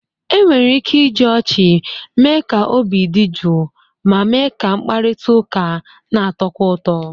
Enwere ike iji ọchị mee ka obi dị jụụ ma mee ka mkparịta ụka na-atọkwu ụtọ.